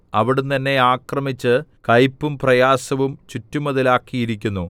അവിടുന്ന് എന്നെ ആക്രമിച്ച് കയ്പും പ്രയാസവും ചുറ്റുമതിലാക്കിയിരിക്കുന്നു